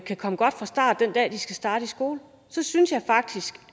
kan komme godt fra start den dag de skal starte i skole så synes jeg faktisk